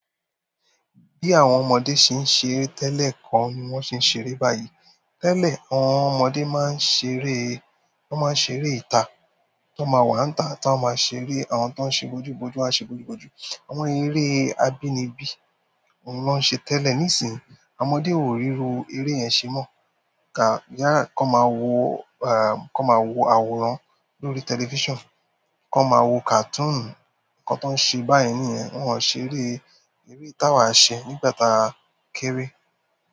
Bí àwọn ọmọdé ṣe ń ṣeré tẹ́lẹ̀ kọ́ ni wọ́n ṣe ń ṣeré báyìí. Tẹ́lẹ̀ àwọn ọmọdé máa ń ṣeré, wọ́n máa ń ṣeré ìtà, tí wọ́n ma wàńtà tí wọ́n ma ṣeré, àwọn tí wọ́n ń ṣe bojú bojú a ṣe bojú bojú. Àwọn eré abínibí òun ni wọ́n ń ṣe tẹ́lẹ̀. Nísìnyi, ọmọdé ò ríru eré yẹn ṣe mọ́. Kọ máa wo àwòrán lórí television. Kọ máa wo cartoon. Nǹkan tí wọ́n ń ṣe báyìí nìyẹn. Wọ́n ò ṣeré eré tí àwa ṣe nígbàta kéré.